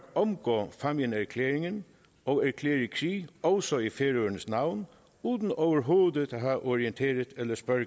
omgå fámjinserklæringen og erklære krig også i færøernes navn uden overhovedet at have orienteret eller spurgt